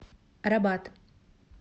рабат